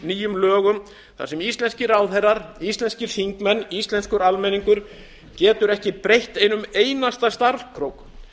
nýjum lögum þar sem íslenskir ráðherrar íslenskir þingmenn íslenskur almenningur getur ekki breytt einum einasta stafkrók